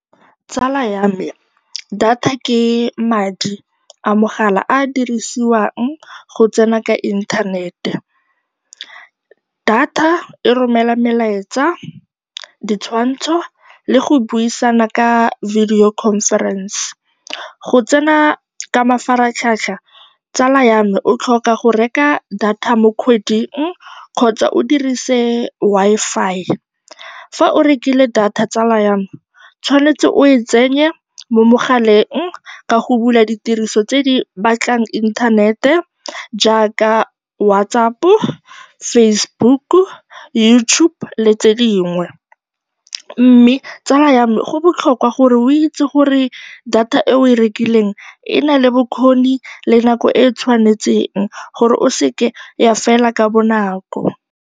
Tsala ya me, data ke madi a mogala a a dirisiwang go tsena ka inthanete. Data e romela melaetsa, ditshwantsho le go buisana ka video conference. Go tsena ka mafaratlhatlha tsala ya me, o tlhoka go reka data mo kgweding kgotsa o dirise Wi-Fi. Fa o rekile data tsala ya me, o tshwanetse o e tsenye mo mogaleng ka go bula ditiriso tse di batlang inthanete jaaka WhatsApp-o, Facebook-u, YouTube le tse dingwe, mme tsala ya me go botlhokwa gore o itse gore data e o e rekileng e na le bokgoni le nako e e tshwanetseng gore e se ke ya fela ka bonako.